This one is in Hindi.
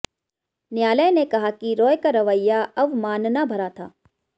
न्यायालय ने कहा कि रॉय का रवैया अवमानना भरा था